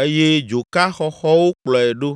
eye dzoka xɔxɔwo kplɔe ɖo.